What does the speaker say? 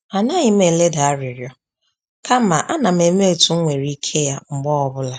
A naghim eleda arịrịọ kama a nam eme etu m nwere ike ya mgbe ọbụla